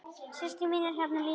Systir mín er hérna líka.